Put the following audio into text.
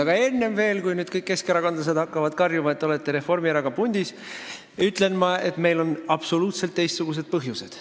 Aga enne veel, kui nüüd kõik keskerakondlased hakkavad karjuma, et te olete Reformierakonnaga pundis, ütlen ma, et meil on absoluutselt teistsugused põhjused.